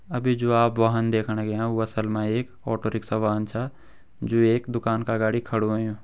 अभी जो आप वाहन देखण लग्यां वो असल मा एक ऑटो रिक्शा वाहन छा जो एक दुकान का अगाड़ी खड़ु होयुं।